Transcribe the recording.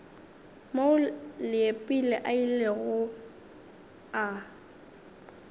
moo leepile a ilego a